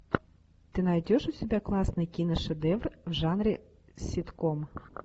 ты найдешь у себя классный киношедевр в жанре ситком